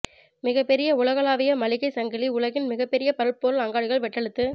மிகப்பெரிய உலகளாவிய மளிகை சங்கிலி உலகின் மிகப்பெரிய பல்பொருள் அங்காடிகள் வட்டெழுத்து